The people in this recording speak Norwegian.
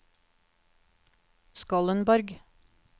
Skollenborg